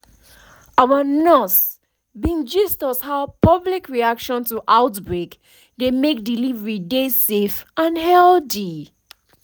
our nurse bin gist is how public reaction to outbreak dey make delivery dey safe and healthy